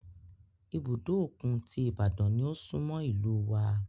Ibùdó òkun ti Ibadan ni ó súnmọ́ ìlúu wa.